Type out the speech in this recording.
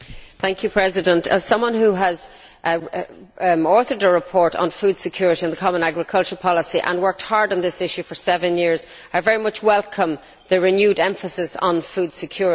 Mr President, as someone who has authored a report on food security and the common agricultural policy and worked hard on this issue for seven years, I very much welcome the renewed emphasis on food security.